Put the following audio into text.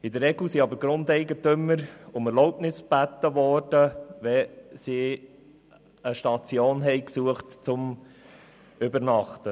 In der Regel wurden aber Grundeigentümer um Erlaubnis gebeten, wenn die Fahrenden eine Station suchten, um zu übernachten.